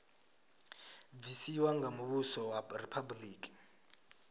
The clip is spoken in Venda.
bvisiwa nga muvhuso wa riphabuliki